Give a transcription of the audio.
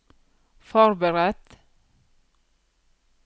forberedt